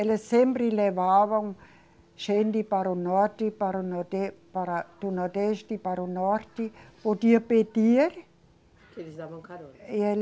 Eles sempre levavam gente para o norte, para o norde, para o nordeste para o norte, podia pedir. Que eles davam carona. E ele